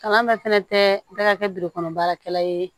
Kalan bɛɛ fɛnɛ tɛ bɛɛ ka kɛ kɔnɔ baarakɛla ye